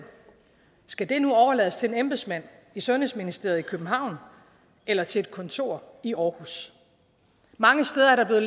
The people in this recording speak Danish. skal det nu overlades til en embedsmand i sundhedsministeriet i københavn eller til et kontor i aarhus mange steder er